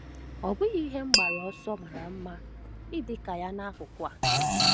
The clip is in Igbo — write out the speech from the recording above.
Ọ́ bụghị ihe mgbaru ọsọ mara mma mma ịdị ka ya nakụkụ a?